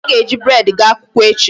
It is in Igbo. Anyị ga-eji bread gaa akwụkwọ echi.